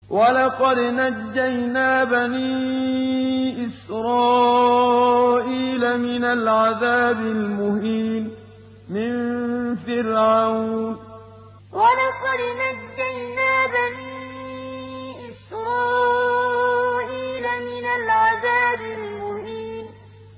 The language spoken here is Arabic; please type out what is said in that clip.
وَلَقَدْ نَجَّيْنَا بَنِي إِسْرَائِيلَ مِنَ الْعَذَابِ الْمُهِينِ وَلَقَدْ نَجَّيْنَا بَنِي إِسْرَائِيلَ مِنَ الْعَذَابِ الْمُهِينِ